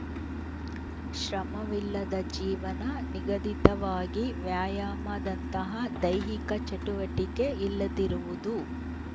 ಶ್ರಮವಿಲ್ಲದ ಜೀವನ ನಿಗದಿತವಾಗಿ ವ್ಯಾಯಾಮದಂತಹ ದೈಹಿಕ ಚಟುವಟಿಕೆ ಇಲ್ಲದಿರುವುದು